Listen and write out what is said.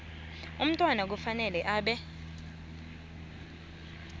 umntwana kufanele abe